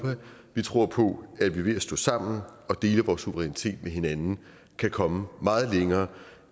vi tror på at vi ved at stå sammen og dele vores suverænitet med hinanden kan komme meget længere